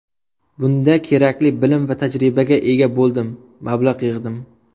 Bunda kerakli bilim va tajribaga ega bo‘ldim, mablag‘ yig‘dim.